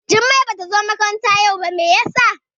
Jummai Bata zo makaranta yau ba, Mai ya sa?